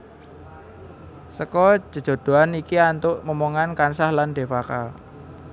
Seka jejodhoan iki antuk momongan kansa lan Devaka